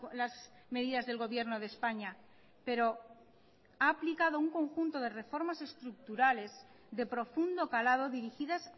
las medidas del gobierno de españa pero ha aplicado un conjunto de reformas estructurales de profundo calado dirigidas